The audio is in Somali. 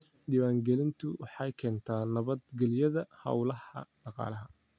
Diiwaangelintu waxay keentaa nabad gelyada hawlaha dhaqaalaha.